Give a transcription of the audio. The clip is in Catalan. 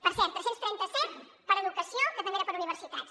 per cert tres cents i trenta set per a educació que també era per a universitats